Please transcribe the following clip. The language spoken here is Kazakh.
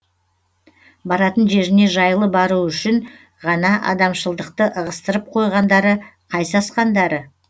баратын жеріне жайлы баруы үшін ғана адамшылдықты ығыстырып қойғандары қай сасқандары